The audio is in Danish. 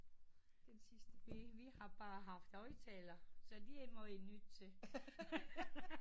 Vi vi har bare haft højtaler så det må i nødt til